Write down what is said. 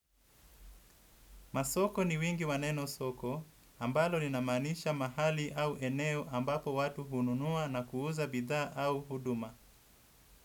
Masoko ni wingi wa neno soko, ambalo linamaanisha mahali au eneo ambapo watu hununua na kuuza bidhaa au huduma.